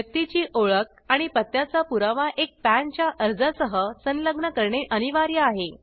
व्यक्तीची ओळख आणि पत्त्याचा पुरावा एक पॅन च्या अर्जासह संलग्न करणे अनिवार्य आहे